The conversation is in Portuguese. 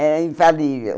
Era infalível.